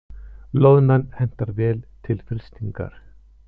Loðnan hentar vel til frystingar